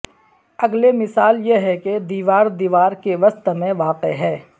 اگلے مثال یہ ہے کہ دیوار دیوار کے وسط میں واقع ہے